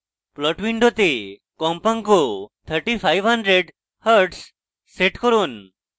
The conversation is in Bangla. plot window কম্পাঙ্ক 3500hz set করুন